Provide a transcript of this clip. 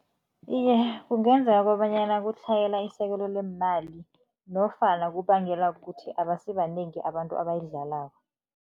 Iye, kungenzeka kobanyana kutlhayela isekelo leemali nofana kubangelwa kukuthi abasibanengi abantu abayidlalako.